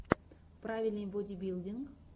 правильный бодибилдинг